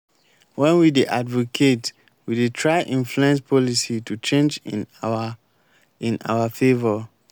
when we dey advocate we de try influence policy to change in our in our favour